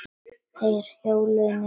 Þeir hjóluðu niður í bæinn.